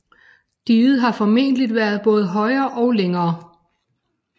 Diget har formentlig været både højere og længere